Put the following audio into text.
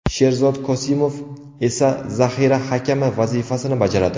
Sherzod Kosimov esa zahira hakami vazifasini bajaradi.